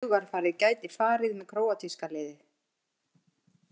Hugarfarið gæti farið með króatíska liðið